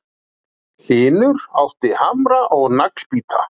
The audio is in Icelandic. Hlynur átti hamra og naglbíta